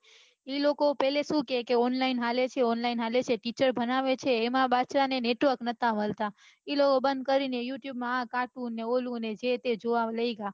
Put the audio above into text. એ લોકો પેલા શું કે online હાલે છે online હાલે છે teacher ભણાવે છે એમાં પાછુ એને network ન તા મળતા એ લોકો બંઘ કરી ને you tube માં આ cartoon ને ઓલું ને જે તે જોવા લઇ ગયા